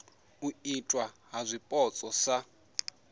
u itwa ha zwipotso sa